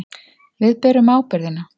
Við berum ábyrgðina.